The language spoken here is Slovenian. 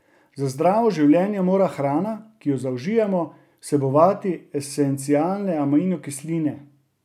Za zdravo življenje mora hrana, ki jo zaužijemo, vsebovati esencialne aminokisline.